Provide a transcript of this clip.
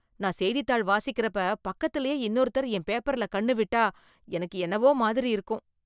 நான் செய்தித்தாள் வாசிக்கிறப்ப பக்கத்துலயே இன்னொருத்தர் என் பேப்பர்ல கண்ணு விட்டா எனக்கு என்னவோ மாதிரி இருக்கும்